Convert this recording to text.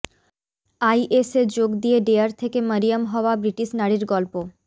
আইএসে যোগ দিয়ে ডেয়ার থেকে মরিয়ম হওয়া ব্রিটিশ নারীর গল্প